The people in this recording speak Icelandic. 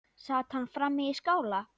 Sat hann frammi í skála.